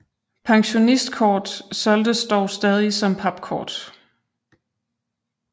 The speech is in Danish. Pensionistkort solgtes dog stadig som papkort